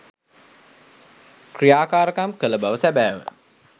ක්‍රියාකාරකම් කළ බව සැබෑව.